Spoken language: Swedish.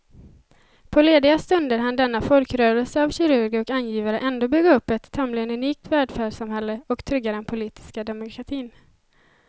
På lediga stunder hann denna folkrörelse av kirurger och angivare ändå bygga upp ett tämligen unikt välfärdssamhälle och trygga den politiska demokratin.